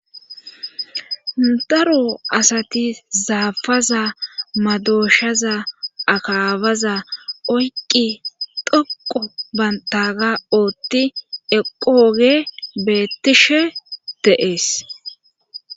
daro asati zaafaza madooshaza akaabaza oyqqi dhoqo bantaga ootti eqooge beettishe de7ees